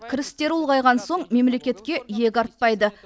кірістері ұлғайған соң мемлекетке иек артпайды